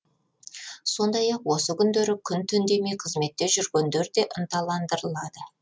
сондай ақ осы күндері күн түн демей қызметте жүргендер де ынталандырылады